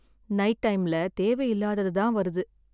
Night டைம்ல தேவை இல்லாதது தான் வருது.